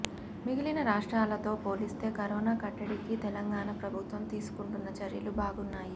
మిగిలిన రాష్ట్రాలతో పోలిస్తే కరోనా కట్టడికి తెలంగాణా ప్రభుత్వం తీసుకుంటున్న చర్యలు బాగున్నాయి